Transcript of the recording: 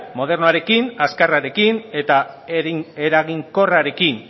modernoarekin azkarrarekin eta eraginkorrarekin